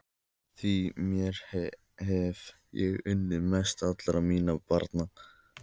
Því þér hef ég unnað mest allra minna barna.